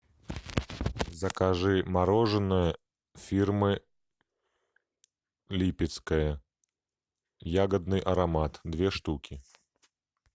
закажи мороженое фирмы липецкое ягодный аромат две штуки